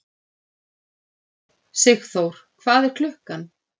Sigþór, hvað er klukkan?